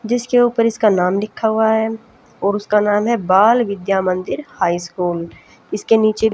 जिसके ऊपर इसका नाम लिखा हुआ है और उसका नाम है बाल विद्या मंदिर हाई स्कूल इसके नीचे--